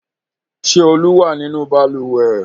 Ṣé Olú wà nínú balùwẹ̀?